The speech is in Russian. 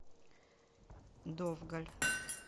довгаль